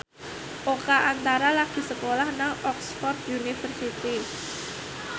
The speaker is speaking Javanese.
Oka Antara lagi sekolah nang Oxford university